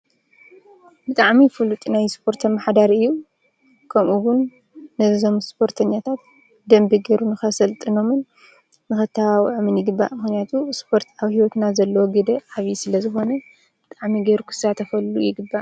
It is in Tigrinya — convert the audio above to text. ብጣዕሚ ፉሉጥ ናይ ስፖርት ኣመሓዳሪ እዩ :: ከምኡ እዉን ነዞም ስፖርተኛታት ብደንቢ ገይሩ ንከሰልጥኖምን ንከተባብዖምን ይግባእ ። ምክንያቱ ስፖርት ኣብ ሂወትና ዘለዎ ግደ ዓብዪ ስለ ዝኮነ ብጣዕሚ ገይሩ ክሳተፈሉ ይግባእ::